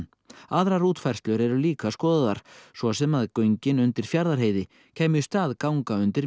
aðrar útfærslur eru líka skoðaðar svo sem að göngin undir Fjarðarheiði kæmu í stað ganga undir